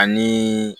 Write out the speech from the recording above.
Ani